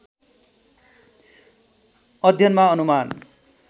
अध्ययनमा अनुमान